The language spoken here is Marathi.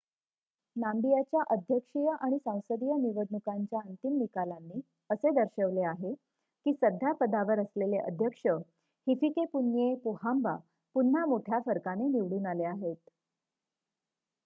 नाम्बियाच्या अध्यक्षीय आणि सांसदीय निवडणुकांच्या अंतिम निकालांनी असे दर्शवले आहे की सध्या पदावर असलेले अध्यक्ष हिफिकेपुन्ये पोहाम्बा पुन्हा मोठ्या फरकाने निवडून आले आहेत